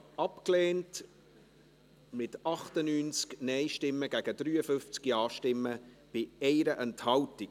Sie haben den Antrag abgelehnt, mit 98 Nein- gegen 53 Ja-Stimmen bei 1 Enthaltung.